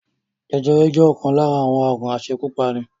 Jẹjẹrẹ jẹ́ ọ̀kan lára àwọn aàrùn asekúpani